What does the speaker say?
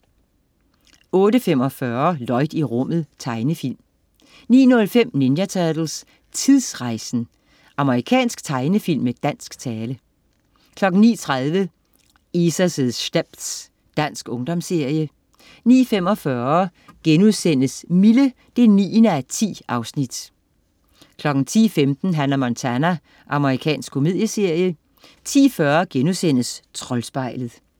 08.45 Lloyd i rummet. Tegnefilm 09.05 Ninja Turtles: Tidsrejsen! Amerikansk tegnefilm med dansk tale 09.30 Isa's stepz. Dansk ungdomsserie 09.45 Mille 9:10* 10.15 Hannah Montana. Amerikansk komedieserie 10.40 Troldspejlet*